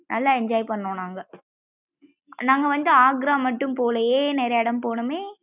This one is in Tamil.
நல்லா enjoy பண்ணோம் நாங்க நாங்க வந்து ஆக்ரா மட்டும் போகலையே நிறையா இடம் போனம்மே நல்லா enjoy பண்ணோம் நாங்க.